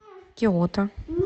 киото